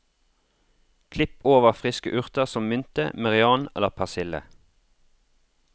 Klipp over friske urter som mynte, merian eller persille.